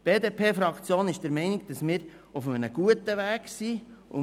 Die BDPFraktion ist der Meinung, dass wir auf gutem Weg sind.